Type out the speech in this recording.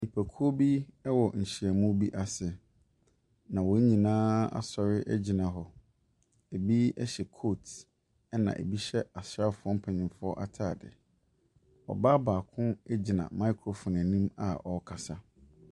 Nnipakuo bi wɔ nhyiamu bi ase, na wɔn nyinaa asɔre aguina hɔ. Bi hyɛ kooti na bi hyɛ asraafoɔ mpanimfo ataade. Ɔbaa baako gyina microphone anim a ɔrekasa.